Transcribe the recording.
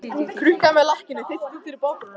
Krukkan með lakkinu þeytist út fyrir borðbrúnina.